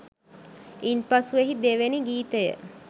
ඉන්පසු එහි දෙවැනි ගීතය